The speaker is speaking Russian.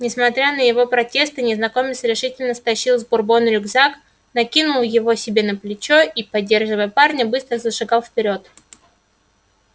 несмотря на его протесты незнакомец решительно стащил с бурбона рюкзак накинул его себе на плечо и поддерживая парня быстро зашагал вперёд